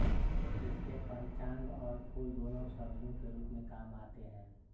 इसके पंचांग और फूल दोनों औषधियों के रूप में काम में आते हैं